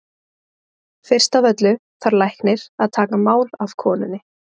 Fyrst af öllu þarf læknir að taka mál af konunni.